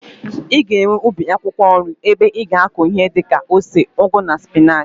I ga-enwe ubi akwụkwọ nri ebe i ga-akụ ihi di ka ose, ugu na spinach.